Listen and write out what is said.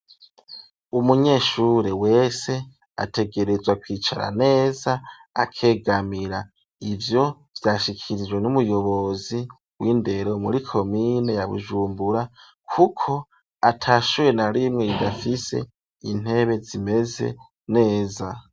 Umunyeshure wese ategerezwa kwicara neza akegamira ivyo vyashikirijwe n'umuyobozi w'indero muri komine ya Bujumbura kuko atashure na rimwe ridafise intebe zimeze neza.